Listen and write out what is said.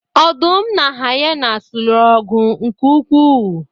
Ọdụm na hyenas lụrụ ọgụ nke ukwuu